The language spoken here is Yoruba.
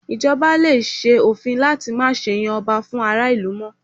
Ì̀jọba lè ṣe òfin láti má ṣe yan ọba fún ará ìlú mọ́